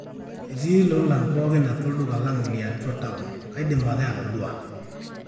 etii lolan pooki atua olduka lang li atua taon, kaidim ake aitodua